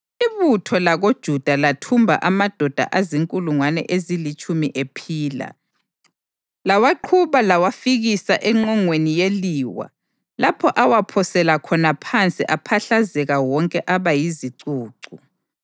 Ibutho lakoJuda lathumba amadoda azinkulungwane ezilitshumi ephila, lawaqhuba layawafikisa engqongeni yeliwa lapho awaphosela khona phansi aphahlazeka wonke aba yizicucu.